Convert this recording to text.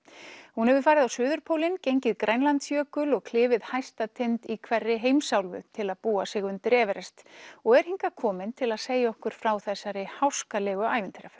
hún hefur farið á suðurpólinn gengið Grænlandsjökul og klifið hæsta tind í hverri heimsálfu til að búa sig undir Everest og er hingað komin til að segja okkur frá þessari háskalegu